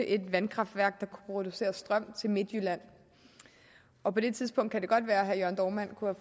et vandkraftværk der kunne producere strøm til midtjylland og på det tidspunkt kan det godt være at herre jørn dohrmann kunne